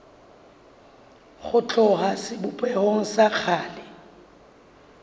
ho tloha sebopehong sa kgale